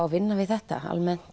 að vinna við þetta